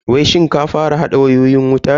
Wai shin ka fara hada wayoyin wutan ne?